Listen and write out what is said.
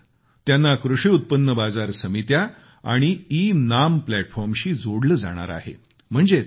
त्यानंतर त्यांना कृषी उत्पन्न बाजार समित्या आणि ईनाम प्लॅटफॉर्मशी जोडले जाणार आहे